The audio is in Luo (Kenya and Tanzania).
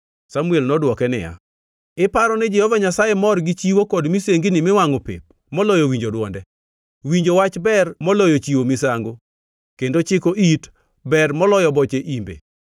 Samuel nodwoke niya, “Iparo ni Jehova Nyasaye mor gi chiwo kod misengini miwangʼo pep moloyo winjo dwonde? Winjo wach ber moloyo chiwo misango kendo chiko it ber moloyo boche imbe,